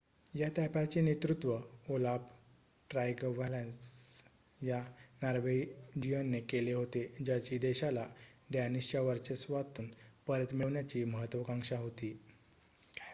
या ताफ्याचे नेतृत्व ओलाफ ट्रायगव्हॅसन या नॉर्वेजियनने केले होते ज्याची देशाला डॅनिशच्या वर्चस्वातून परत मिळवण्याची महत्वाकांक्षा होती